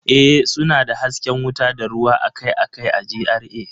Ee, suna da hasken wuta da ruwa akai-akai a GRA